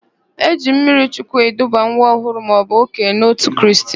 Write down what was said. E ji mmirichukwu eduba nwa ọhụrụ maọbụ okenye n'òtù Kraịst.